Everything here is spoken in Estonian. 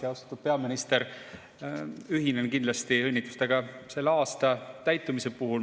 Ja, austatud peaminister, ühinen kindlasti õnnitlustega aasta täitumise puhul.